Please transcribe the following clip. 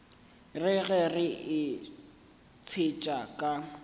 re ge ke itshetšha ka